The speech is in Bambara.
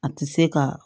A tɛ se ka